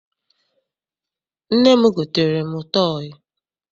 Nne m gotere m tọọyị.